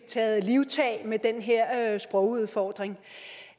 taget livtag med den her sprogudfordring